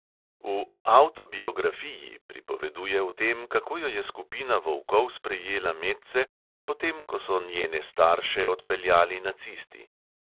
V "avtobiografiji" pripoveduje o tem, kako jo je skupina volkov sprejela medse, potem ko so njene starše odpeljali nacisti.